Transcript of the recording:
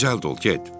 Digər dur, get.